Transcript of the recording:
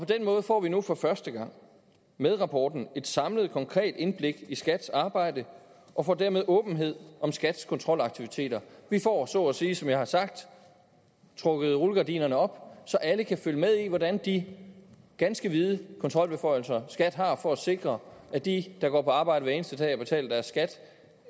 den måde får vi nu for første gang med rapporten et samlet konkret indblik i skats arbejde og får dermed åbenhed om skats kontrolaktiviteter vi får så at sige som jeg har sagt trukket rullegardinerne op så alle kan følge med i hvordan de ganske vide kontrolbeføjelser skat har for at sikre at de der går på arbejde hver eneste dag og betaler deres skat